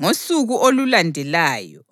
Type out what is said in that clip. Ngosuku olulandelayo,